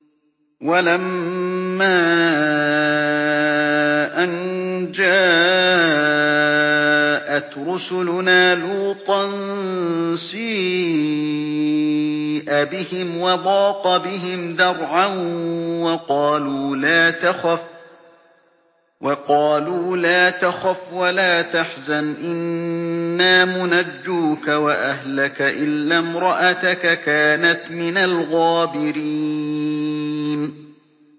وَلَمَّا أَن جَاءَتْ رُسُلُنَا لُوطًا سِيءَ بِهِمْ وَضَاقَ بِهِمْ ذَرْعًا وَقَالُوا لَا تَخَفْ وَلَا تَحْزَنْ ۖ إِنَّا مُنَجُّوكَ وَأَهْلَكَ إِلَّا امْرَأَتَكَ كَانَتْ مِنَ الْغَابِرِينَ